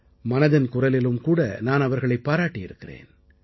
மனதில் குரலிலும்கூட நான் அவர்களைப் பாராட்டியிருக்கிறேன்